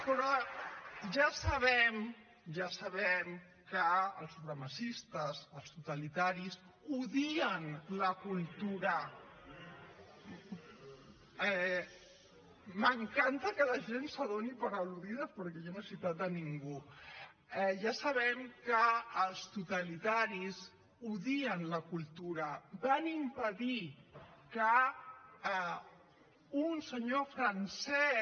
però ja sabem que els supremacistes els totalitaris odien la cultura m’encanta que la gent es doni per al·ludida perquè jo no he citat ningú ja sabem que els totalitaris odien la cultura van impedir que un senyor francès